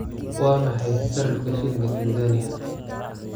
Waa maxay sarifka shilinka Tansaaniya?